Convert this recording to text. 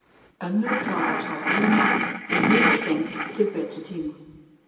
Önnur kláraðist á ballinu, en hin var geymd til betri tíma.